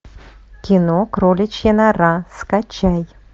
кино кроличья нора скачай